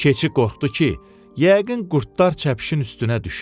Keçi qorxdu ki, yəqin qurdlar çəpişin üstünə düşüb.